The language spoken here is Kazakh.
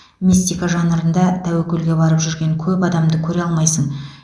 мистика жанрында тәуекелге барып жүрген көп адамды көре алмайсың